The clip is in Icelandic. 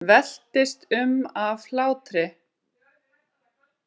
Veltist um af hlátri.